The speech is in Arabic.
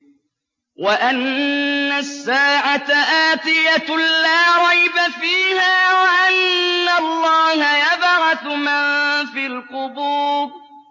وَأَنَّ السَّاعَةَ آتِيَةٌ لَّا رَيْبَ فِيهَا وَأَنَّ اللَّهَ يَبْعَثُ مَن فِي الْقُبُورِ